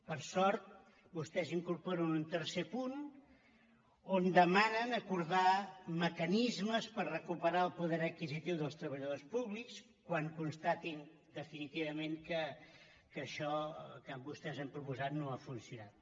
per sort vostès incorporen un tercer punt on demanen acordar mecanismes per recuperar el poder adquisitiu dels treballadors públics quan constatin definitivament que això que vostès han proposat no ha funcionat